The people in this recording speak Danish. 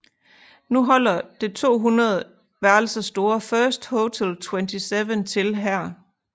Nu holder det 200 værelser store First Hotel Twentyseven til her